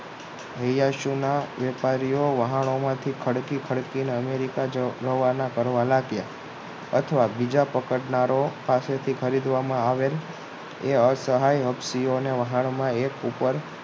અયીયાસી વેપારીઓ વહાણોમાં થી ખડકી ખડકીને અમેરિકા જવા રવાના કરવામાં આવ્યા અથવા બીજા પકડનારો પાસેથી ખરીદવામાં આવેલ એ અ સહાય પક્ષીઓને વાહણમાં એક ઉપર